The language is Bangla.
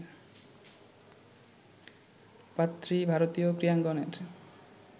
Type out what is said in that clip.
পাত্রী ভারতীয় ক্রীড়াঙ্গনের